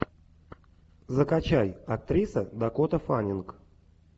закачай актриса дакота фаннинг